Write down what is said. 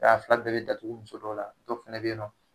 a fila bɛɛ bi datugu muso dɔw la dɔ fɛnɛ be yen nɔn